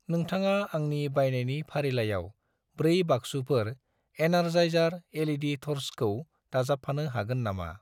नोंथाङा आंनि बायनायनि फारिलाइयाव 4 बाक्सुफोर एनार्जायजार एल.इ.डि थर्सखौ दाजाबफानो हागोन नामा?